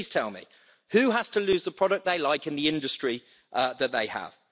Please tell me who has to lose the product they like in the industry that they have?